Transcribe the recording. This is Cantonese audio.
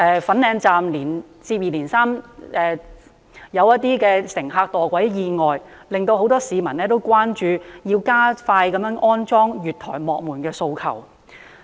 粉嶺站接二連三發生乘客墮軌意外，令很多市民關注，提出加快安裝月台幕門的訴求。